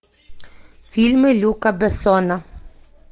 фильмы люка бессона